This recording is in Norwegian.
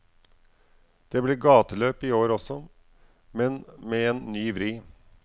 Det blir gateløp i år også, men med en ny vri.